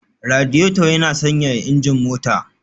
Radiator yana sanyaya injin mota